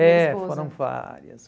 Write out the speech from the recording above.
primeira esposa. É, foram várias.